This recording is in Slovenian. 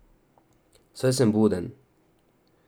Saj sem buden.